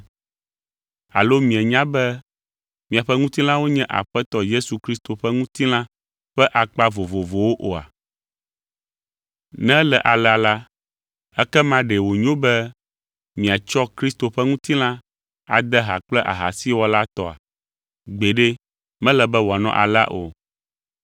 Alo mienya be miaƒe ŋutilãwo nye Aƒetɔ Yesu Kristo ƒe ŋutilã ƒe akpa vovovowo oa? Ne ele alea la, ekema ɖe wònyo be miatsɔ Kristo ƒe ŋutilã ade ha kple ahasiwɔla tɔa? Gbeɖe, mele be wòanɔ alea o!